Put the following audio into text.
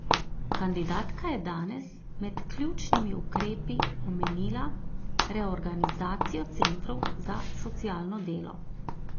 Kandidatka je danes med ključnimi ukrepi omenila reorganizacijo centrov za socialno delo.